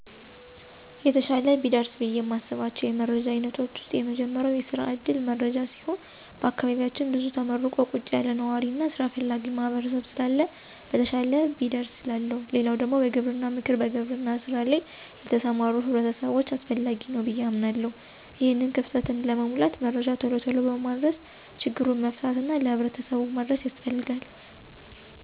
የተሻለ ቢደርስ ብዬ እማስባቸው የመረጃ አይነቶች ዉስጥ የመጀመሪያው የስራ ዕድል መረጃ ሲሆን በአካባቢያችን ብዙ ተመርቆ ቁጭ ያለ ነዋሪ እና ሥራ ፈላጊ ማህበረሰብ ስላለ በተሻለ ቢደርስ እላለሁ። ሌላው ደግሞ የግብርና ምክር በግብርና ሥራ ላይ ለተሰማሩ ሕብረተሰቦች አስፈላጊ ነው ብዬ አምናለሁ። ይሄንን ክፍተትም ለመሙላት መረጃ ቶሎ ቶሎ በማድረስ ችግሩን መፍታት እና ለሕብረተሰቡ መድረስ ያስፈልጋል።